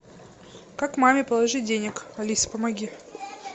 как маме положить денег алиса помоги